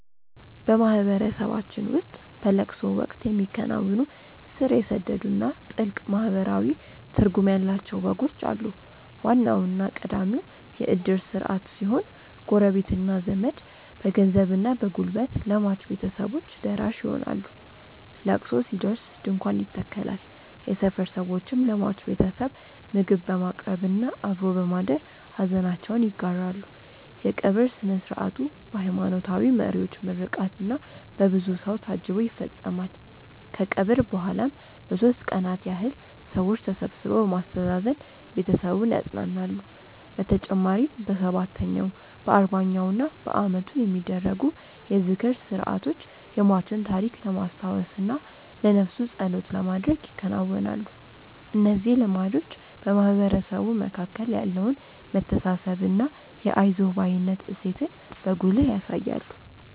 በማህበረሰባችን ውስጥ በለቅሶ ወቅት የሚከናወኑ ስር የሰደዱና ጥልቅ ማህበራዊ ትርጉም ያላቸው ወጎች አሉ። ዋናውና ቀዳሚው የእድር ስርዓት ሲሆን፣ ጎረቤትና ዘመድ በገንዘብና በጉልበት ለሟች ቤተሰቦች ደራሽ ይሆናሉ። ለቅሶ ሲደርስ ድንኳን ይተከላል፣ የሰፈር ሰዎችም ለሟች ቤተሰብ ምግብ በማቅረብና አብሮ በማደር ሐዘናቸውን ይጋራሉ። የቀብር ሥነ ሥርዓቱ በሃይማኖታዊ መሪዎች ምርቃትና በብዙ ሰው ታጅቦ ይፈጸማል። ከቀብር በኋላም ለሦስት ቀናት ያህል ሰዎች ተሰብስበው በማስተዛዘን ቤተሰቡን ያጸናናሉ። በተጨማሪም በሰባተኛው፣ በአርባኛውና በዓመቱ የሚደረጉ የዝክር ሥርዓቶች የሟችን ታሪክ ለማስታወስና ለነፍሱ ጸሎት ለማድረግ ይከናወናሉ። እነዚህ ልማዶች በማህበረሰቡ መካከል ያለውን መተሳሰብና የአይዞህ ባይነት እሴትን በጉልህ ያሳያሉ።